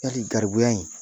Yali garibuya in